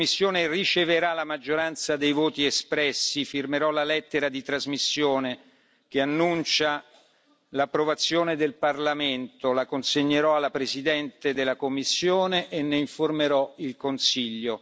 Se la Commissione riceverà la maggioranza dei voti espressi, firmerò la lettera di trasmissione che annuncia l'approvazione del Parlamento, la consegnerò alla Presidente della Commissione e ne informerò il Consiglio.